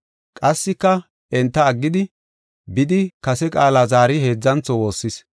Qassika enta aggidi, bidi kase qaala zaari heedzantho woossis.